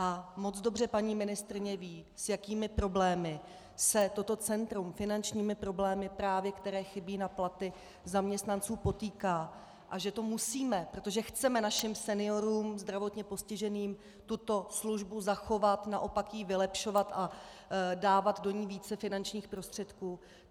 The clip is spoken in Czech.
A moc dobře paní ministryně ví, s jakými problémy se toto centrum, finančními problémy právě, které chybí na platy zaměstnanců, potýká a že to musíme, protože chceme našim seniorům, zdravotně postiženým tuto službu zachovat, naopak ji vylepšovat a dávat do ní více finančních prostředků.